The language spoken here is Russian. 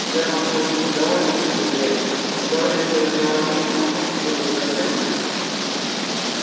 германн очень недоволен своим приятелем он говорит что на его месте он поступил бы совсем иначе